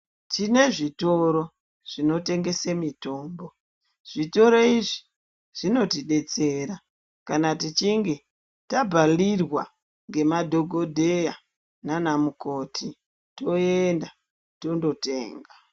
Tine zvitoro zvinotengesa mitombo zvitoro izvi zvinotodetsera kana tichinge tabvarirwa nemadhokodheya nana mukoti toenda tondotenga.